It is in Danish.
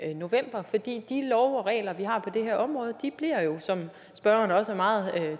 november for de lovregler vi har på det her område bliver jo som spørgeren også meget